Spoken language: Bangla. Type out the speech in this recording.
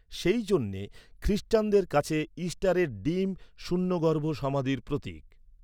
সেই জন্যে খ্রিস্টানদের কাছে ইস্টারের ডিম শূন্যগর্ভ সমাধির প্রতীক।